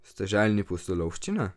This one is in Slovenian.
Ste željni pustolovščine?